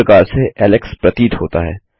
इस प्रकार से ऐलेक्स प्रतीत होता है